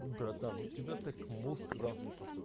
братан у тебя так мозг развит